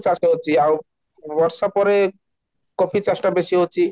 ଚାଷ ହେଉଛି ଆଉ ବର୍ଷା ପରେ coffee ଚାଷଟା ବେଶି ହଉଛି